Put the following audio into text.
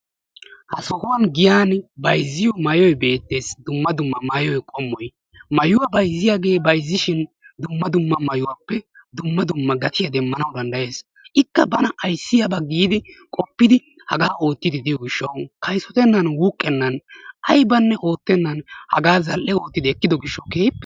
ha sohuwani giyani bayzziyo maayoy beetees. dumma dumma maayuwa qommoy beetishin dumma dumma maayuwappe dumma dumma gatiya demanawu dandayees. ikka kaysotennan wuuqenna hagaa zal'e ootidi ekkido gishawu lo'ees.